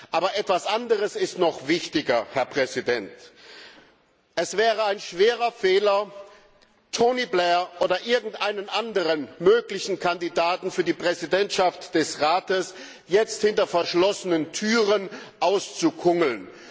Aber etwas anderes ist noch wichtiger Es wäre ein schwerer Fehler, Tony Blair oder irgendeinen anderen möglichen Kandidaten für die Präsidentschaft des Rates hinter verschlossenen Türen auszukungeln.